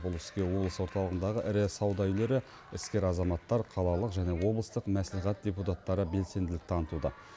бұл іске облыс орталығындағы ірі сауда үйлері іскер азаматтар қалалық және облыстық мәслихат депутаттары белсенділік танытуда